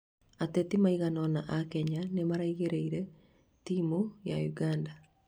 ateti maigana ona a Kenya nĩmaraingĩrĩire timu ya Uganda